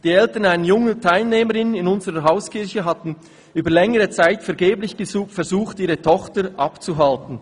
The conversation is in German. Die Eltern einer jungen Teilnehmerin in unserer Hauskirche hatten über längere Zeit vergeblich versucht, ihre Tochter abzuhalten.